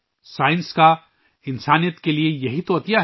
یہ انسانیت کو سائنس کا تحفہ ہے